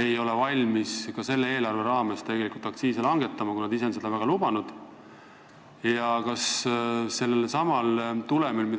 ei ole valmis ka selle eelarve raames tegelikult aktsiise langetama, kuigi nad ise on seda väga lubanud?